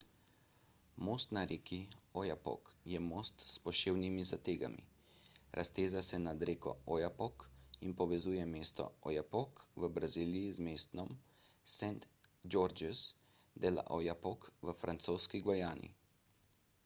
most na reki oyapock je most s poševnimi zategami razteza se nad reko oyapock in povezuje mesto oiapoque v braziliji z mestom saint georges de l'oyapock v francoski gvajani